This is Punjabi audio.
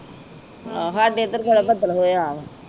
ਆ ਸਾਡੇ ਇਧਰ ਬੱਦਲ ਹੋਇਆ ਆ